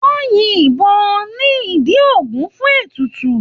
Wọ́n yin ìbọn ní ìdí Ògún fún ètùtù.